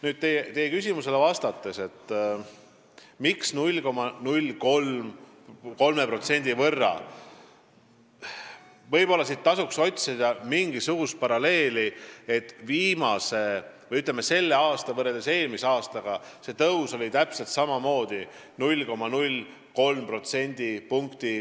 Kui vastata teie küsimusele, miks 0,03% võrra, siis võib-olla siit tasuks otsida mingisugust paralleeli, et viimase või, ütleme, selle aasta tõus võrreldes eelmise aastaga oli täpselt samamoodi 0,03%.